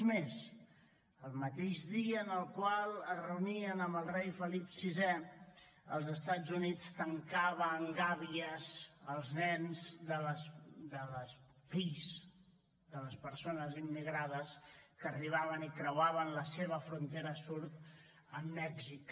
és més el mateix dia en el qual es reunien amb el rei felip vi els estats units tancava en gàbies els nens fills de les persones immigrades que arribaven i creuaven la seva frontera sud amb mèxic